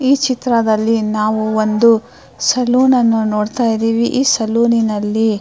ಈ ಚಿತ್ರದಲ್ಲಿ ನಾವು ಒಂದು ಸಲೂನ್ ಅನ್ನು ನೋಡ್ತಾ ಇದ್ದಿವಿ ಈ ಸಲೂನಿನಲ್ಲಿ --